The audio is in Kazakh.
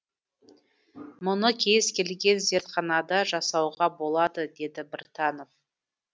мұны кез келген зертханада жасауға болады деді біртанов